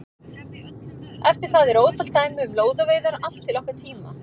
Eftir það eru ótal dæmi um lóðaveiðar allt til okkar tíma.